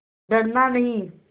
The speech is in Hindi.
डरना नहीं